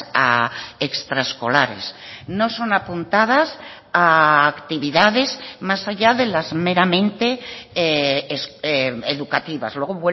a extraescolares no son apuntadas a actividades más allá de las meramente educativas luego